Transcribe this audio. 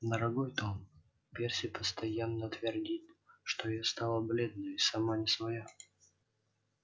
дорогой том перси постоянно твердит что я стала бледная и сама не своя